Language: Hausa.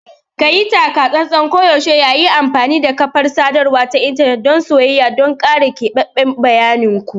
Kayi taka-tsantsan koyaushe yayin amfani da kafar sadarwa ta intanet dan soyayya don kare keɓaɓɓen bayanin ku.